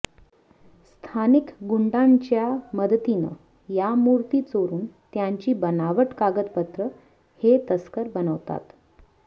स्थानिक गुंडांच्या मदतीनं या मूर्ती चोरून त्यांची बनावट कागदपत्र हे तस्कर बनवतात